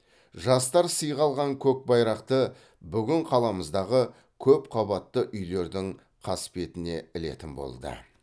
жастар сыйға алған көк байрақты бүгін қаламыздағы көпқабатты үйлердің қасбетіне ілетін болды